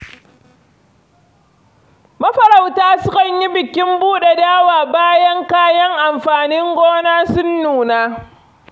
Mafarauta sukan yi bikin buɗe dawa bayan kayan amfanin gona sun nuna.